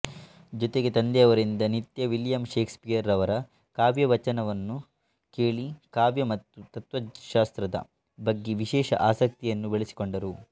ಜೊತೆಗೆ ತಂದೆಯವರಿಂದ ನಿತ್ಯ ವಿಲಿಯಂ ಷೇಕ್ಸ್ಪಿಯರ್ ರವರ ಕಾವ್ಯವಾಚನವನ್ನು ಕೇಳಿ ಕಾವ್ಯ ಮತ್ತು ತತ್ವಶಾಸ್ತ್ರದ ಬಗ್ಗೆ ವಿಶೇಷ ಆಸಕ್ತಿಯನ್ನು ಬೆಳೆಸಿಕೊಂಡರು